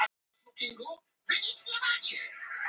Hann kinkar kolli hikandi.